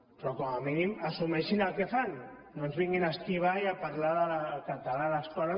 però com a mínim assumeixin el que fan no ens vinguin a esquivar i a parlar del català a l’escola